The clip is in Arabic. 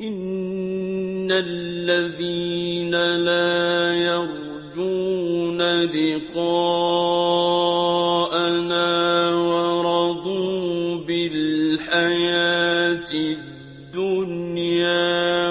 إِنَّ الَّذِينَ لَا يَرْجُونَ لِقَاءَنَا وَرَضُوا بِالْحَيَاةِ الدُّنْيَا